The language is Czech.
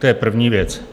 To je první věc.